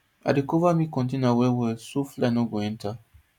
i dey cover milk container well well so fly no go enter